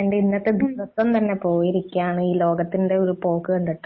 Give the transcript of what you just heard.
എന്റെ ഇന്നത്തെ ദിവസം തന്നെ പോയിരിക്കയാണ് ഈ ലോകത്തിന്റെ പോക്ക് കണ്ടിട്ട്